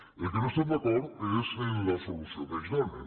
en el que no estem d’acord és en la solució que ells donen